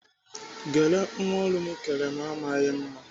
Gele nwa ọrụ m kere m amaghị mma.